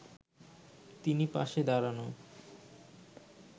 তিনি পাশে দাঁড়ানো